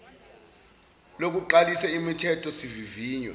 lokuqalisa umithetho sivivinywa